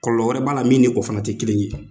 Kɔlɔlɔ wɛrɛ b'a la min ni o fana tɛ kelen ye.